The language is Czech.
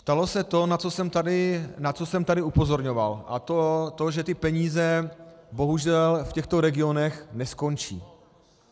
Stalo se to, na co jsem tady upozorňoval, a to že ty peníze bohužel v těchto regionech neskončí.